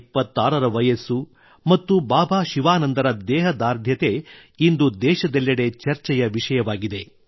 126 ರ ವಯಸ್ಸು ಮತ್ತು ಬಾಬಾ ಶಿವಾನಂದರ ದೇಹದಾರ್ಢ್ಯತೆ ಇಂದು ದೇಶದೆಲ್ಲೆಡೆ ಚರ್ಚೆಯ ವಿಷಯವಾಗಿವೆ